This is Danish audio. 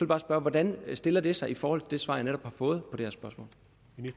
bare spørge hvordan stiller det sig i forhold til det svar jeg netop har fået